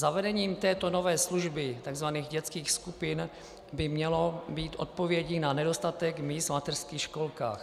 Zavedení této nové služby, tzv. dětských skupin, by mělo být odpovědí na nedostatek míst v mateřských školkách.